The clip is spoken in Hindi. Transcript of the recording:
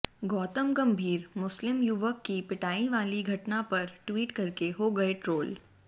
गौतम गंभीर मुस्लिम युवक की पिटाई वाली घटना पर ट्वीट करके हो गए ट्रोल